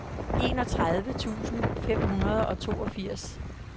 enogtredive tusind fem hundrede og toogfirs